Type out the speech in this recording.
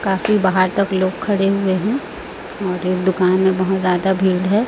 काफी बाहर तक लोग खड़े हुए हैं और ये दुकान में बहुत ज्यादा भीड़ है।